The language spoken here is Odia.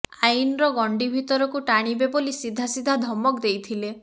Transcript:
ଆଇନର ଗଣ୍ଡି ଭିତରକୁ ଟାଣିବେ ବୋଲି ସିଧା ସିଧା ଧମକ ଦେଇଥିଲେ